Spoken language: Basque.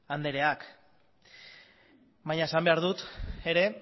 andreak baina esan behar dut ere